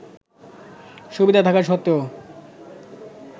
সুবিধা থাকা সত্ত্বেও